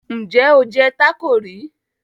Ǹjẹ́ o jẹ tácò rí?